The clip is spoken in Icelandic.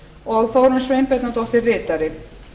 og þórunn sveinbjarnardóttir ritari